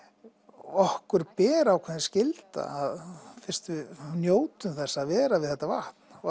okkur ber ákveðin skylda fyrst við njótum þess að vera við þetta vatn og